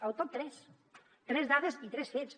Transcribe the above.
el top tres tres dades i tres fets